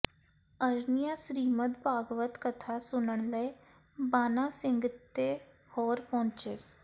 ਅਰਨੀਆ ਸ੍ਰੀਮਦ ਭਾਗਵਤ ਕਥਾ ਸੁਨਣ ਲਈ ਬਾਨਾ ਸਿੰਘ ਤੇ ਹੋਰ ਪਹੁੰਚੇ